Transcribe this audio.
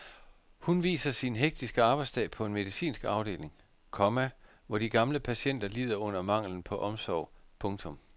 Hun viser sin hektiske arbejdsdag på en medicinsk afdeling, komma hvor de gamle patienter lider under manglen på omsorg. punktum